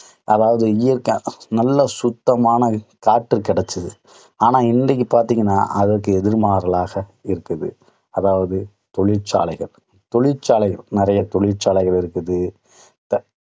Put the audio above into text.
அதாவது இயற்கை. நல்ல சுத்தமான காத்து கிடைச்சுது. ஆனால் இன்றைக்கு பாத்தீங்கன்னா, அதற்கு எதிர்மாறலாக இருக்குது. அதாவது தொழிற்சாலைகள் தொழிற்சாலைகள் நிறைய தொழிற்சாலைகள் இருக்குது.